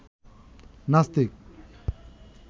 নাস্তিক